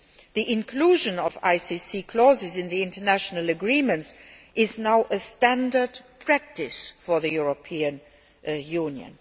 The inclusion of ICC clauses in international agreements is now standard practice for the European Union.